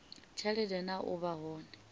tshelede na u vha hone